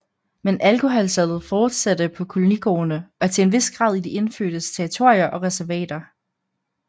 Men alkoholsalget fortsatte på kolonigårdene og til en vis grad i de indfødtes territorier og reservater